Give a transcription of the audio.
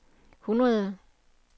hundrede